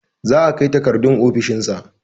The papers will be submitted to his office